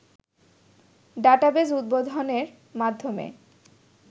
database উদ্বোধনের মাধ্যমে